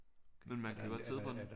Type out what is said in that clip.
Men man kan godt sidde på den